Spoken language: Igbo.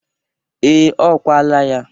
Ee, o kwala ya.